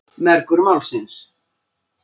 Mergur málsins.